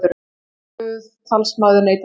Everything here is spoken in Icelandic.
Skipuð talsmaður neytenda